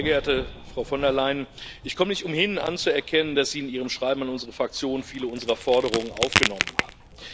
Sehr geehrte Frau von der Leyen, ich komme nicht umhin anzuerkennen, dass Sie in Ihrem Schreiben an unsere Fraktion viele unserer Forderungen aufgenommen haben.